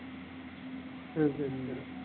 சரி சரி